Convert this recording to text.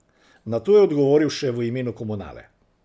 Nato je odgovoril še v imenu komunale.